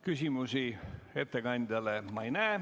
Küsimusi ettekandjale ma ei näe.